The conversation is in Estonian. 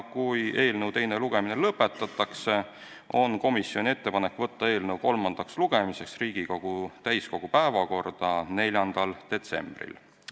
Kui eelnõu teine lugemine lõpetatakse, on komisjonil ettepanek saata eelnõu kolmandaks lugemiseks Riigikogu täiskogu päevakorda 4. detsembril.